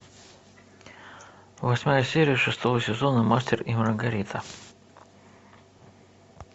восьмая серия шестого сезона мастер и маргарита